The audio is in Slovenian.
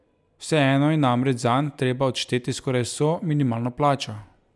Vseeno je namreč zanj treba odšteti skoraj vso minimalno plačo.